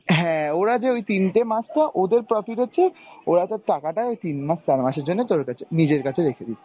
হ্যাঁ ওরা যে ওই তিনটে মাস তো ওদের profit হচ্ছে, ওরা তোর টাকাটা ওই তিন মাস চার মাসের জন্য তোর কাছে নিজের কাছে রেখে দিচ্ছে।